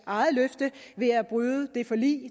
eget løfte ved at bryde det forlig